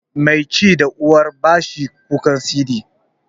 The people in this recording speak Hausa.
Mai ci da uwa ba shi kukan siɗi.